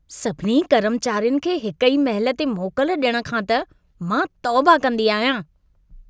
सभिनी कर्मचारियुनि खे हिक ई महिल ते मोकल ॾियण खां त मां तौबा कंदी आहियां।